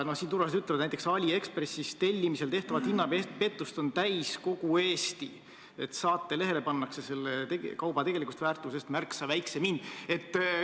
Öeldakse, et näiteks AliExpressist tellimise korral tehtavat hinnapettust on täis kogu Eesti, saatelehele pannakse kauba tegelikust väärtusest märksa odavam hind.